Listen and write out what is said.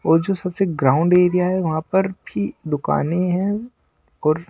और जो सबसे ग्राउंड एरिया है वहां पर भी दुकानें हैं और--